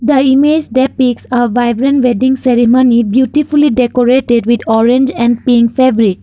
the image depicts a vibrant wedding ceremony beautifully decorated with orange and pink fabric.